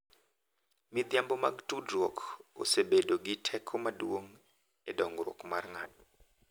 Midhiambo mag tudruok osebedo gi teko maduong' e dongruok mar ng'ato,